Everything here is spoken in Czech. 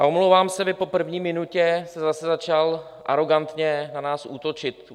A omlouvám se, vy po první minutě jste zase začal arogantně na nás útočit.